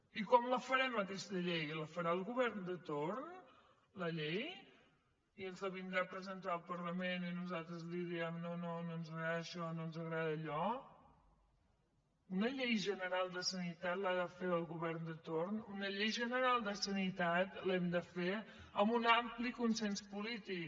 i com la farem aquesta llei la farà el govern de torn la llei i ens la vindrà a presentar al parlament i nosaltres li direm no no no ens agrada això no ens agrada allò una llei general de sanitat l’ha de fer el govern de torn una llei general de sanitat l’hem de fer amb un ampli consens polític